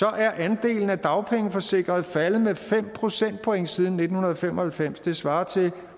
er andelen af dagpengeforsikrede faldet med fem procentpoint siden nitten fem og halvfems det svarer til